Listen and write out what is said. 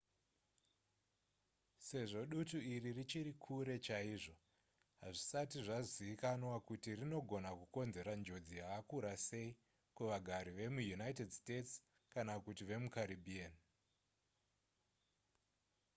sezvo dutu iri richiri kure chaizvo hazvisati zvazivikanwa kuti rinogona kukonzera njodzi yakakura sei kuvagari vemuunited states kana kuti vemucaribbean